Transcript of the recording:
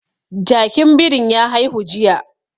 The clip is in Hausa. Jakin birin ya haihu jiya